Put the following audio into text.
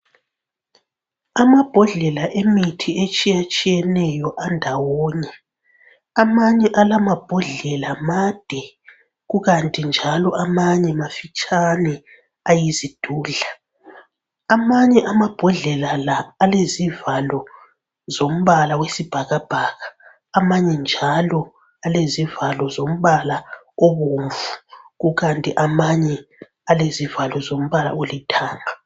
Amabhodlela emithi etshiyetshiyeneyo andawonye. Amanye alamabhodlela made, kukanti njalo amanye mafitshane, ayizidudla. Amanye amabhodlela la alezivalo zombala wesibhakabhaka amanye njalo alezivalo zombala obomvu, kukanti amanye alezivalo zombala olithanga.